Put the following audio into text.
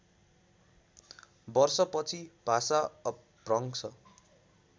वर्षपछि भाषा अपभ्रंश